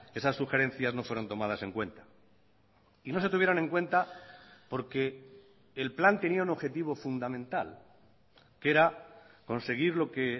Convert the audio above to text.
esas sugerencias no fueron tomadas en cuenta y no se tuvieron en cuenta porque el plan tenía un objetivo fundamental que era conseguir lo que